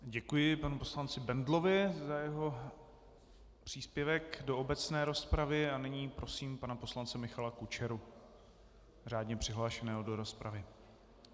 Děkuji panu poslanci Bendlovi za jeho příspěvek do obecné rozpravy a nyní prosím pana poslance Michala Kučeru, řádně přihlášeného do rozpravy.